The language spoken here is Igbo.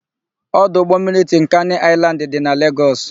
Ọdụ ụgbọmmiri Tinkani Aịlandị dị na Legọs.